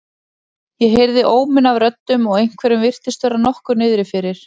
Ég heyrði óminn af röddum og einhverjum virtist vera nokkuð niðri fyrir.